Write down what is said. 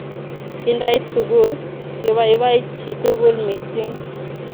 Kindait sukul, kibaibai chitukul mising